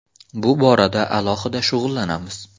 Bu borada alohida shug‘ullanamiz.